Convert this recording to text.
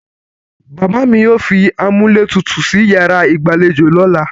Bàbá mi yóò fi amúlétutù sí yàrá ìgbàlejò lọ́la.